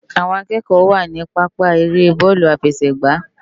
Awòn ákëkò wá ni pàpá ëré bòlú áfèsè gbá